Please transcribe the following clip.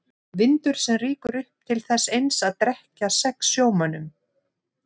Vindur sem rýkur upp til þess eins að drekkja sex sjómönnum.